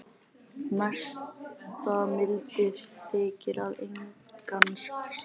Mesta mildi þykir að engan sakaði